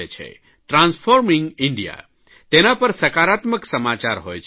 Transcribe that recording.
transforming India તેના પર સકારાત્મક સમાચાર હોય છે